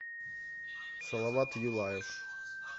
салават юлаев